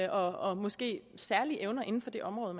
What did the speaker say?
og måske særlige evner inden for det område